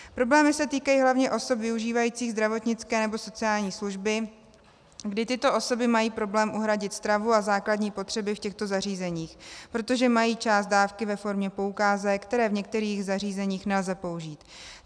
Problémy se týkají hlavně osob využívajících zdravotnické nebo sociální služby, kdy tyto osoby mají problém uhradit stravu a základní potřeby v těchto zařízeních, protože mají část dávky ve formě poukázek, které v některých zařízeních nelze použít.